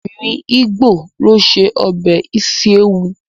Obìnrin ígbò ló ṣe ọbẹ̀ isi ewu